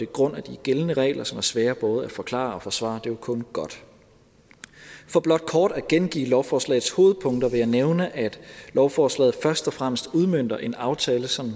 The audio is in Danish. grund af de gældende regler som er svære både at forklare og forsvare er jo kun godt for blot kort at gengive lovforslagets hovedpunkter vil jeg nævne at lovforslaget først og fremmest udmønter en aftale som